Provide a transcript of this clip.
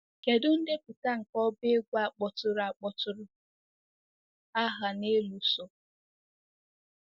Kedu ndepụta nke ọba egwu a kpọtụrụ a kpọtụrụ aha n'elu so?